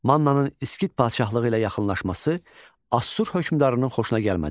Mannanın İskit padşahlığı ilə yaxınlaşması Asur hökmdarının xoşuna gəlmədi.